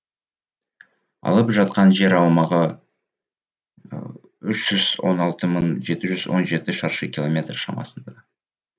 алып жатқан жер аумағы үш жүз он алты мың жеті жүз он жеті шаршы километр шамасында